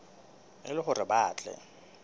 e le hore ba tle